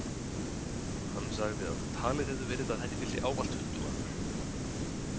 Hann sagði að talið hefði verið að henni fylgdi ávallt huldumaður.